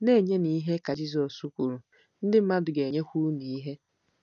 “Na-enyenụ ihe,” ka Jizọs kwuru, “ ndị mmadụ ga-enyekwa unu ihe.